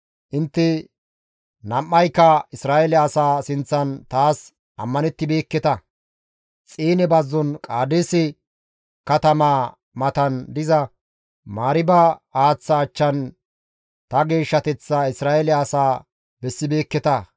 Intte nam7ayka Isra7eele asaa sinththan taas ammanettibeekketa; Xiine bazzon Qaadeese katamaa matan diza Mariiba haaththa achchan ta geeshshateththaa Isra7eele asaa bessibeekketa.